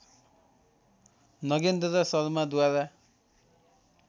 Nagendra शर्माद्वारा